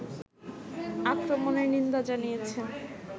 আক্রমণের নিন্দা জানিয়েছেন